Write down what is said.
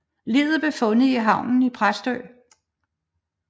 Liget blev fundet i havnen i Præstø